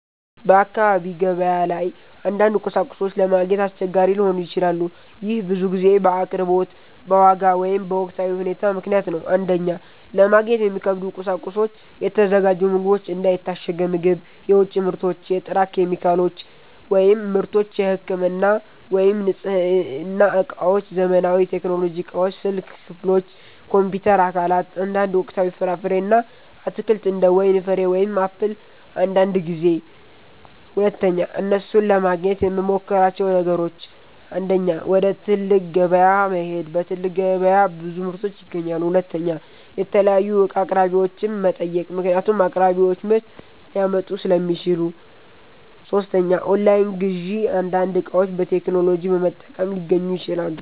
በአካባቢ ገበያ ላይ አንዳንድ ቁሳቁሶች ለማግኘት አስቸጋሪ ሊሆኑ ይችላሉ። ይህ ብዙ ጊዜ በአቅርቦት፣ በዋጋ ወይም በወቅታዊ ሁኔታ ምክንያት ነው። 1) ለማግኘት የሚከብዱ ቁሳቁሶች የተዘጋጁ ምግቦች እንደ የታሸገ ምግብ፣ የውጭ ምርቶች የጥራት ኬሚካሎች / ምርቶች የህክምና ወይም የንጽህና እቃዎች ዘመናዊ ቴክኖሎጂ እቃዎች ስልክ ክፍሎች፣ ኮምፒውተር አካላት አንዳንድ ወቅታዊ ፍራፍሬ እና አትክልት እንደ ወይን ፍሬ ወይም አፕል አንዳንድ ጊዜ 2) እነሱን ለማግኘት የምመሞክራቸው ነገሮች 1. ወደ ትልቅ ከተማ ገበያ መሄድ በትልቅ ገበያ ብዙ ምርቶች ይገኛሉ 2. የተለያዩ እቃ አቅራቢዎችን መጠየቅ ምክንያቱም አቅራቢዎች ምርት ሊያመጡ ሥለሚችሉ 3. ኦንላይን ግዢ አንዳንድ እቃዎች በቴክኖሎጂ በመጠቀም ሊገኙ ይችላሉ